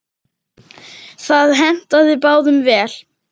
Það hentaði báðum vel.